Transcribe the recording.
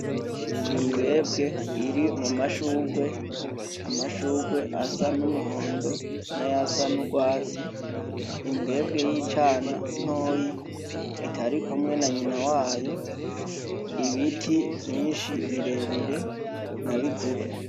Imbwebwe iri mu mashugwe ,amashugwe asa n'umuhondo nayasa n'ugwatsi imbwebwe y'icana ntoyi itarikumwe na nyinaa wayo ibiti birebire nabigufi.